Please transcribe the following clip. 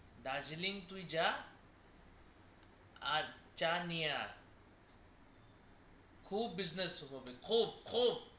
দার্জিলিং তুই যা আর চা নিয়ে আয় খুব business হবে খুব খুব